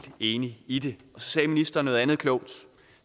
enig i det så sagde ministeren noget andet klogt